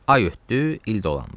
Ay ötdü, il dolandı.